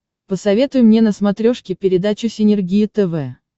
посоветуй мне на смотрешке передачу синергия тв